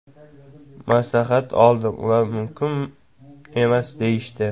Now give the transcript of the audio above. Maslahat oldim, ular mumkin emas deyishdi.